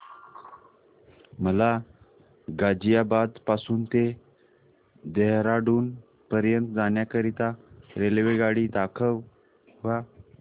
मला गाझियाबाद पासून ते देहराडून पर्यंत जाण्या करीता रेल्वेगाडी दाखवा